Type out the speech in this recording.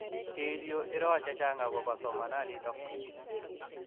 Chil yuu iroo chechang akoopo somananitok